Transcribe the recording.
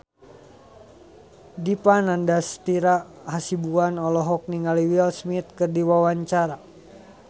Dipa Nandastyra Hasibuan olohok ningali Will Smith keur diwawancara